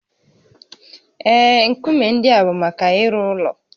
Ee, nkume ndị a bụ maka ịrụ ụlọ